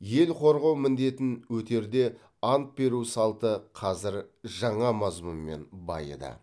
ел қорғау міндетін өтерде ант беру салты қазір жаңа мазмұнмен байыды